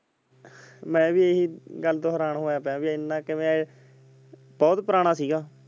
ਮੈਂ ਵੀ ਗੱਲ ਤੋਂ ਹੈਰਾਨ ਪਿਆ ਬੀ ਏਨਾ ਕਿਵੇਂ ਬਹੁਤ ਪੁਰਾਣਾ ਸੀਗਾ।